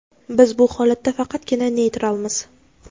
biz bu holatda faqatgina neytralmiz.